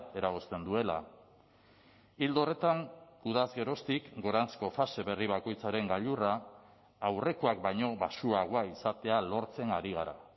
eragozten duela ildo horretan udaz geroztik goranzko fase berri bakoitzaren gailurra aurrekoak baino baxuagoa izatea lortzen ari gara